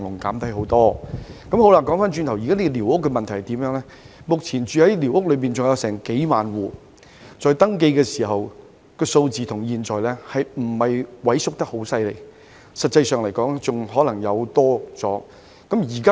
回頭說寮屋問題，目前的情況是仍有數萬戶寮屋居民，登記數字與現有數字相比之下未見有太大萎縮，實際上甚至可能有所增加。